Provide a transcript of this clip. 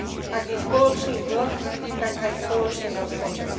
Ak je spoločný dlh, tak aj spoločný rozpočet.